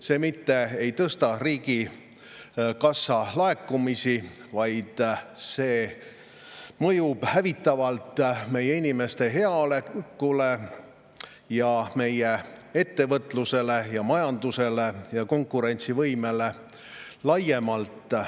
See ei suurenda riigikassa laekumisi, vaid mõjub hävitavalt meie inimeste heaolule ja meie ettevõtlusele, konkurentsivõimele ja majandusele laiemalt.